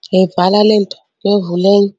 ngiyayivala le nto ngiyovula enye.